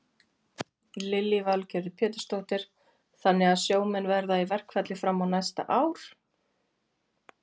Lillý Valgerður Pétursdóttir: Þannig að sjómenn verða í verkfalli fram á næsta ár?